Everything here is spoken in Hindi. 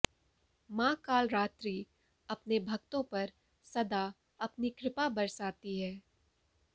माँ कालरात्रि अपने भक्तों पर सदा अपनी कृपा बरसाती है